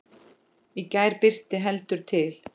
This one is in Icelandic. Í gær birti heldur til.